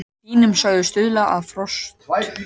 Hlýnun sögð stuðla að frosthörkum